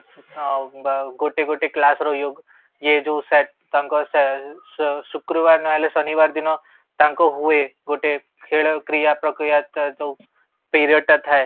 ଆଉ ଗୋଟେ ଗୋଟେ କ୍ଲାସର ଇଏ ଯୋଉ ଥାଏ ତାଙ୍କ ଶୁକ୍ରବାର ନହେଲେ ଶନିବାର ଦିନ ତାଙ୍କ ହୁଏ ଗୋଟେ ଖେଳ କ୍ରିୟା ପ୍ରକ୍ରିୟା ତ ଯୋଉ ପିରିୟଡ଼ଟା ଥାଏ